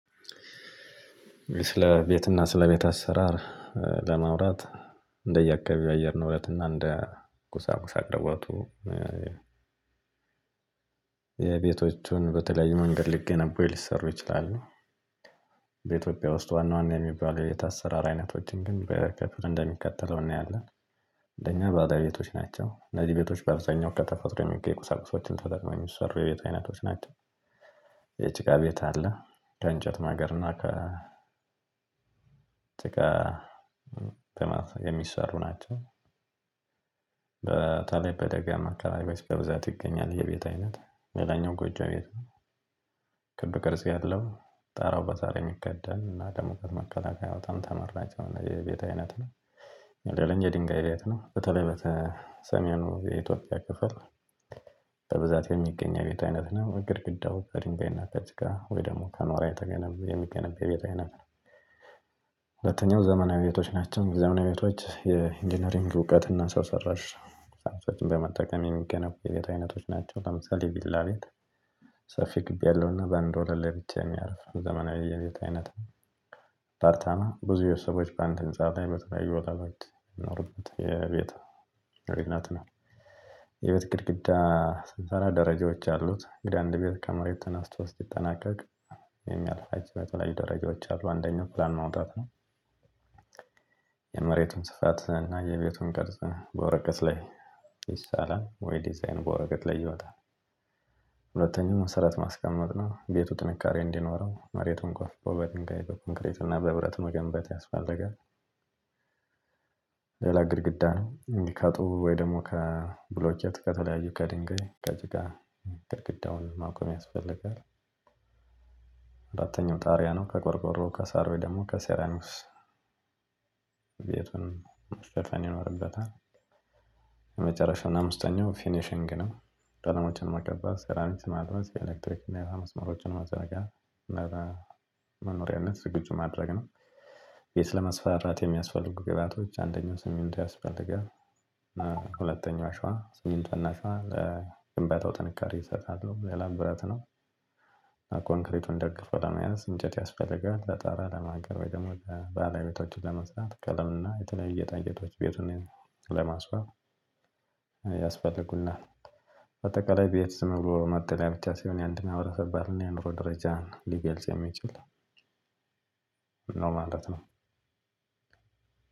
ስለ ቤት እና ስለ ቤት አሰራር ለማውራት እንደየአካባቢው አየር ንብረት እና እንደ ቁሳቁስ አቅርቦቱ የቤቶቹን በተለያዩ መንገድ ሊገነቡ ወይ ሊሰሩ ይችላሉ። በኢትዮጵያ ውስጥ ዋና ዋና የሚባል የቤት አሰራር አይነቶችን ግን በከፊል እንደሚከተለው እናያለን። ለኛ በለቤቶች ናቸው እነዚህ ቤቶች በአብዛኛው ከተፈጥሮ የሚገኝ ቁሳቁሶችን ተጠቅመን የሚሰሩ የቤት አይነቶች ናቸው። የጭቃ ቤት አለ ከእንጨት ማገር እና ከ ጥጭቃ የሚሰሩ ናቸው። በታለይ በደጋማ አካባቢዎች በብዛት ይገኛል ይሄ የቤት አይነት ሌላኛው ጎጆ ቤት ነው። ክብ ቅርጽ ያለው ጣራው በሳር የሚከደን እና ለሙቀት መከላከያው በጣም ተመራጭ የሆነ የቤት አይነት ነው። ንደለኝ የድንጋይ ቤት ነው በተለይ በተ በሰሜኑ የኢትዮጵያ ክፍል በብዛት የሚገኝ የቤት አይነት ነው ግድግዳው ከድንጋይና ከጭቃ ወይ ደግሞ ከኖራ የተገነቡ የሚገነበው የቤት አይነት ነው። ሁለተኛው ዘመናዊ ቤቶች ናቸው ዘመናዊ ቤቶች የኢንጂነሪንግ እውቀት እና ሰው ሰራሽ በመጠቀም የሚገነቡ የቤት አይነቶች ናቸው። ለምሳሌ ቪላ ቤት ሰፊ ግቢ ያለውና በአንድ ወለል ላይ ብቻ የሚያርፍ ዘመናዊ የቤት አይነት ነው። አፓርታማ ብዙ የሰዎች በአንድ ህንፃ ላይ በተለያዩ ወለሎች የሚኖሩበት የቤት አይነት ነው። የቤት ግድግዳ ስንሰራ ደረጃዎች አሉት እንግዲህ አንድ ቤት ከመሬት ተነስቶ እስኪጠናቀቅ የሚያልፉቸው የተለያዩ ደረጃዎች አሉ አንደኛው ፕላን ማውጣት ነው። የመሬቱን ስፋት እና የቤቱን ቅርጽ በወረቀት ላይ ይሳላል ወይ ዲዛይን በወረቀት ላይ ይወጣል። ሁለተኛው መሰረት ማስቀመጥ ነው ቤቱ ጥንካሬ እንዲኖረው መሬቱን ቆፍሮ በድንጋይ በኮንክሪት እና በብረት መገንባት ያስፈልጋል። ሌላ ግድግዳ ነው እንዲህ ካጡ ወይ ደግሞ ከብሎኬት ከተለያዩ ከድንጋይ ከጭቃ ግድግዳውን ማቆም ያስፈልጋል። አራተኛው ጣሪያ ነው ከቆርቆሮ ከሳር ወይ ደግሞ ከሴራሚክስ ቤቱን መሸፈን ይኖርበታል። የመጨረሻውና አምስተኛው ፊኒሽንግ ነው። ቀለሞችን መቀበል ሴራሚክስ ማልበስ የኤሌክትሪክ እና የውሃ የመስመሮችን ማመዘርጋት እና ለመኖሪያነት ዝግጁ ማድረግ ነው። ቤት መስፋራት የሚያስፈልጉ ግባቶች አንደኛው ስሚንቶ ያስፈልጋል። ሁለተኛው አሸዋ ስሚንቶና አሸዋ ለግንባታው ጥንካሬ ይሰጣሉ ሌላ ብረት ነው። ኮንክሪቱን ደግፎ ለመያዝ እንጨት ያስፈልጋል ለጣራ ለማገር ወይ ደግሞ ለባለቤቶችን ለመስራት ቀለም እና የተለያየ ጌጣጌጦች ቤቱን ለማስዋብ ያስፈልጉናል። በአጠቃላይ ቤት ዝም ብሎ ለመጠለያ ብቻ ሳይሆን የአንድ ማህበረሰብ ባህልና የኑሮ ደረጃን ሊገልጽ የሚችል ነው ማለት ነው።